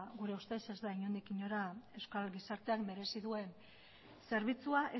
gure ustez ez da inondik inora euskal gizarteak merezi duen zerbitzua